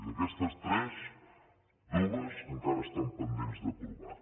d’aquestes tres dues encara estan pendents d’aprovar